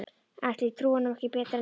Ætli ég trúi honum ekki betur en ykkur.